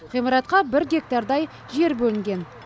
ғимаратқа бір гектардай жер бөлінген